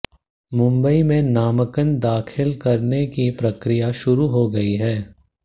मुंबई में नामांकन दाखिल करने की प्रक्रिया शुरु हो गई है